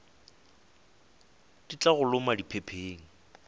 di tla go loma diphepheng